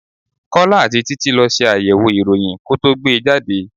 Kọ́lá àti títí lọ ṣe àyẹ̀wò ìròyìn ko tó gbe jáde.